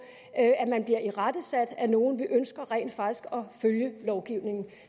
at man bliver irettesat af nogen vi ønsker rent faktisk at følge lovgivningen